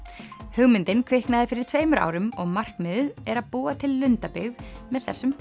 hugmyndin kviknaði fyrir tveimur árum og markmiðið er að búa til lundabyggð með þessum